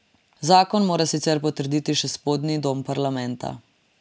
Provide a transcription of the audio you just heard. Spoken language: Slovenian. Zakon mora sicer potrditi še spodnji dom parlamenta.